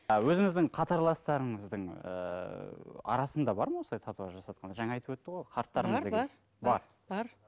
а өзіңіздің қатарластарыңыздың ыыы арасында бар ма осындай татуаж жасатқандар жаңа айтып өтті ғой қарттарымыз деген бар бар бар